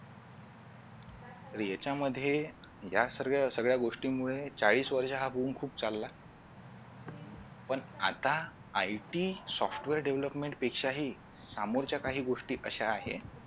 याच्यामध्ये या सर्व सगळ्या गोष्टीमुळे चाळीस वर्ष हा boom खूप चालला पण आता IT Software Deovlopment पेक्षा हि समोरच्या काही गोष्टी कशा आहेत